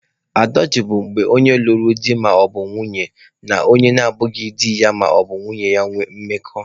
Adọltrị bụ onye lụrụ di maọbụ nwanyị na onye na abụghị di ya maọbụ nwunye ya ịnwe mmekọ.